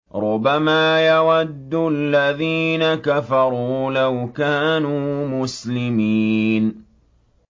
رُّبَمَا يَوَدُّ الَّذِينَ كَفَرُوا لَوْ كَانُوا مُسْلِمِينَ